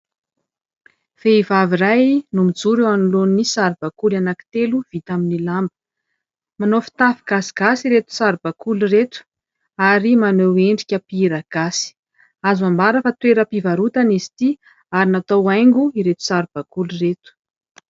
Vehivavy iray no mijoro eo anoloan'ny saribakoly anankitelo vita amin'ny lamba. Manao fitafy gasigasy ireto saribakoly ireto ary maneho endrika mpihira gasy ; azo ambara fa toeram-pivarotana izy ity ary natao haingo ireto saribakoly ireto.